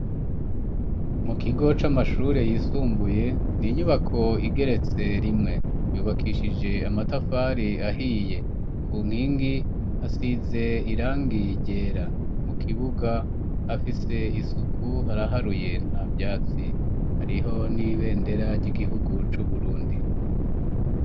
Mu kigo c'amashure yisumbuye n'inyubako igeretse rimwe yubakishije amatafari ahiye ku nkingi hasize irangi ryera mu kibuga hafise isuku haraharuye nta vyatsi hariho n'ibendera ry'igihugu c'uburundi.